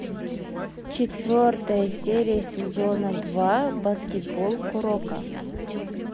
четвертая серия сезона два баскетбол куроко